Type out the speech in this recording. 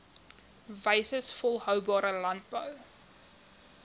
wyses volhoubare landbou